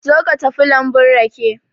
Zo ka tafi lambun rake.